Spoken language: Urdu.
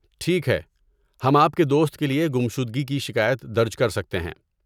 ٹھیک ہے، ہم آپ کے دوست کے لیے گمشدگی کی شکایت درج کر سکتے ہیں۔